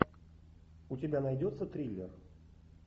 у тебя найдется триллер